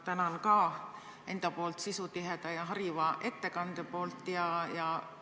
Tänan ka enda poolt sisutiheda ja hariva ettekande eest!